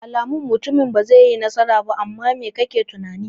Alamu sun nuna mutumin nan bazai yi nasara ba, amma mai kake tunani?